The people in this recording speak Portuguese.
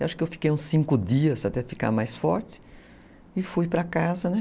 Eu acho que eu fiquei uns cinco dias até ficar mais forte e fui para casa, né?